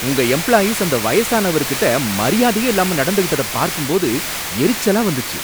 உங்க எம்ப்ளாயீஸ் அந்த வயசானவருகிட்ட மரியாதையே இல்லாம நடந்துகிட்டத பாக்கும்போது எரிச்சலா வந்துச்சு.